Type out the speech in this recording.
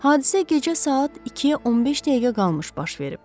Hadisə gecə saat 2-ə 15 dəqiqə qalmış baş verib.